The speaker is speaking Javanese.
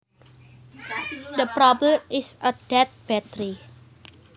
The problem is a dead battery